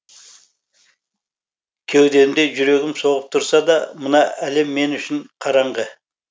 кеудемде жүрегім соғып тұрса да мына әлем мен үшін қараңғы